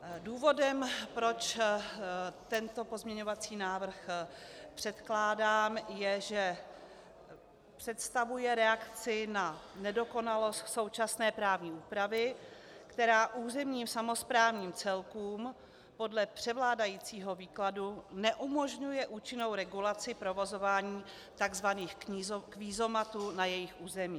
Důvodem, proč tento pozměňovací návrh předkládám, je, že představuje reakci na nedokonalost současné právní úpravy, která územním samosprávným celkům podle převládajícího výkladu neumožňuje účinnou regulaci provozování tzv. kvízomatů na jejich území.